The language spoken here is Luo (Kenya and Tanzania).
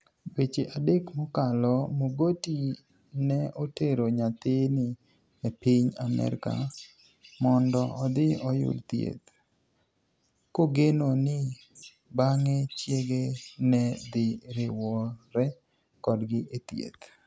Dweche adek mokalo, Mogoti ni e otero niyathini e e piniy Amerka monido odhi oyud thieth, kogeno nii banig'e chiege ni e dhi riwore kodgi e thieth.